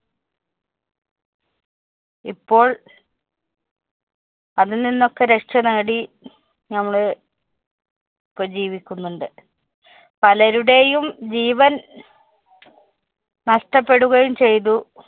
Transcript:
ഇപ്പോള്‍ അതില്‍ നിന്നൊക്കെ രക്ഷനേടി ഞമ്മള്‍ ഇപ്പൊ ജീവിക്കുന്നുണ്ട്. പലരുടെയും ജീവന്‍ നഷ്ട്ടപ്പെടുകയും ചെയ്തു.